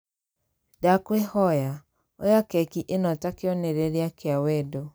Ndakũĩhoya, oya keki ĩno ta kĩonereria kĩa wendo.